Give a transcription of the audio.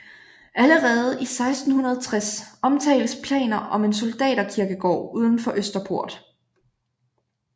Allerede i 1660 omtales planer om en soldaterkirkegård uden for Østerport